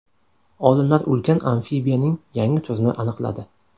Olimlar ulkan amfibiyaning yangi turini aniqladi.